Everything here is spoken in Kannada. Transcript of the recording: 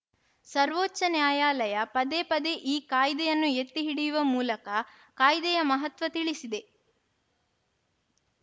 ಸರ್ವೋಚ್ಛ ನ್ಯಾಯಾಲಯ ಪದೇ ಪದೇ ಈ ಕಾಯ್ದೆಯನ್ನು ಎತ್ತಿಹಿಡಿಯುವ ಮೂಲಕ ಕಾಯ್ದೆಯ ಮಹತ್ವ ತಿಳಿಸಿದೆ